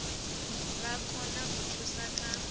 vha kone u thusa kha